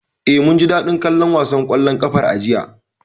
Eh, mun ji daɗin kallon wasan ƙwallon ƙafar a jiya.